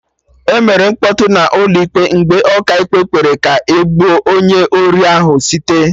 Emere mkpọtụ n'ụlọ ịkpe mgbe Ọkaikpe kpere ka e gbuo onye ori ahụ site